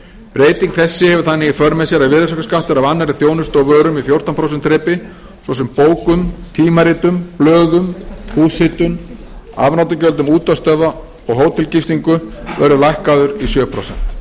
breyting þessi hefur þannig í för með sér að virðisaukaskattur af annarri þjónustu og vörum í fjórtán prósent þrepi svo sem bókum tímaritum blöðum húshitun afnotagjöldum útvarpsstöðva og hótelgistingu verður lækkaður í sjö prósent